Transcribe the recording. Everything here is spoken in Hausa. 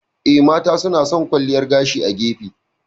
Eh, mata suna san kwalliyar gashi a gefe.